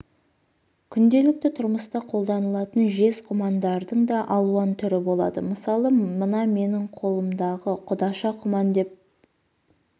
күнделікті тұрмыста қолданылатын жез құмандардың да алуан түрі болады мысалы мына менің қолымдағы құдаша құман деп